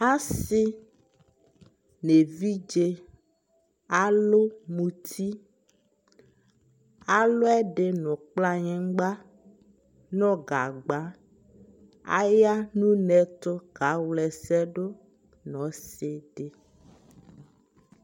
asii nʋ ɛvidzɛ alʋ mʋti, alʋ ɛdi nʋ kplayingba nʋ gagba, aya nʋ ʋnɛ ɛtʋ ka wlɛsɛ dʋ nʋ ɔsii di